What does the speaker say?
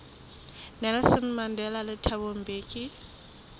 nelson mandela le thabo mbeki